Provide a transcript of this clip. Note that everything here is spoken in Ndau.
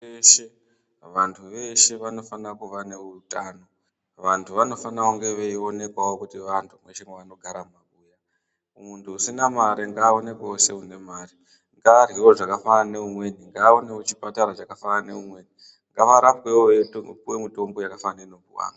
Vantu veshe vanofanira kuva neutano, vantu vanofanira kunge veionekavo kuti vantu kweshe kwevanogaravo. Mutu usina mare ngaaonekwevo seunemare, ngaarhevo zvakafanana neamweni, ngaaendevo kuchipatara chakadai neamweni, ngaarapwevo eipivavo mitombo yakadai neinopivavo amweni.